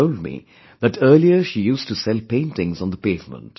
She told me that earlier she used to sell paintings on the pavement